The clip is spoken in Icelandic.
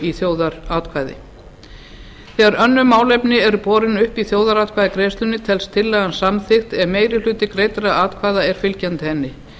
í þjóðaratkvæði þegar önnur málefni eru borin upp í þjóðaratkvæðagreiðslu telst tillagan samþykkt ef meiri hluti greiddra atkvæða er fylgjandi henni